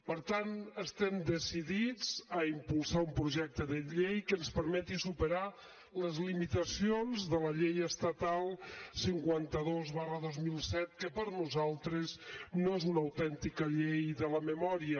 per tant estem decidits a impulsar un projecte de llei que ens permeti superar les limitacions de la llei estatal cinquanta dos dos mil set que per nosaltres no és una autèntica llei de la memòria